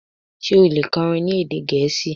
ṣe o le kọrin ni ede Gẹẹsi?